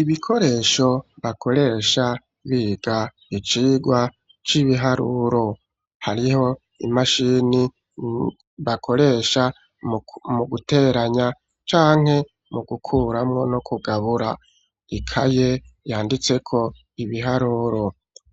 Ibikoresho bakoresha biga icigwa c'ibiharuro: hariho imashini bakoresha mu guteranya canke mu gukuramwo no kugabura, Ikaye yanditseko ibiharuro,